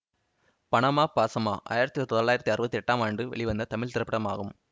பணமா பாசமா ஆயிரத்தி தொள்ளாயிரத்தி அறுபத்தி எட்டாம் ஆண்டு வெளிவந்த தமிழ் திரைப்படமாகும்